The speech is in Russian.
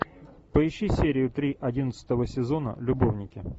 поищи серию три одиннадцатого сезона любовники